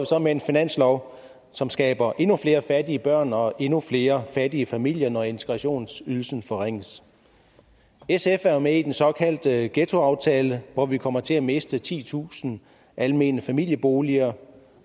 så med en finanslov som skaber endnu flere fattige børn og endnu flere fattige familier når integrationsydelsen forringes sf er jo med i den såkaldte ghettoaftale hvor vi kommer til at miste titusind almene familieboliger